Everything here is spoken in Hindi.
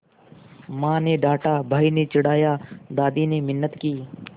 माँ ने डाँटा भाई ने चिढ़ाया दादी ने मिन्नत की